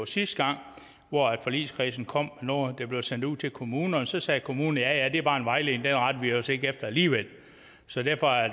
sidste gang forligskredsen kom noget der blev sendt ud til kommunerne så sagde kommunerne ja ja det er bare en vejledning den retter vi os ikke efter alligevel så derfor er